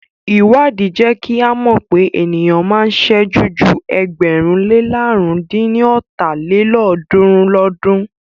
Ìwádìí jẹ́ kí à mọ̀ pé ènìyàn máa ń sẹ́jú ju ẹgbẹ̀rún lé làrún dín ní ọ́ta lélọ́ọ̀dúnrún lọ́dun.